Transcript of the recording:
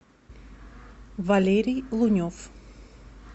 валерий лунев